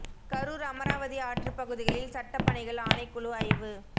கரூா் அமராவதி ஆற்றுப் பகுதிகளில் சட்டப் பணிகள் ஆணைக் குழு ஆய்வு